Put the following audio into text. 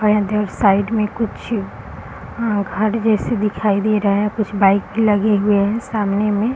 और इधर साइड में कुछ अ घर जैसे दिखाई दे रहा है कुछ बाइक लगे हुए हैं सामने में।